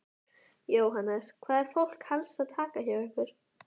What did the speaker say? Jóhannes: Hvað er fólk helst að taka hjá ykkur?